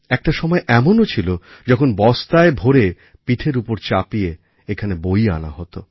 একটা সময় এমনও ছিল যখন বস্তায় ভরে পিঠের ওপর চাপিয়ে এখানে বই আনা হত